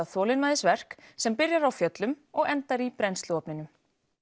þolinmæðisverk sem byrjar á fjöllum og endar í brennsluofninum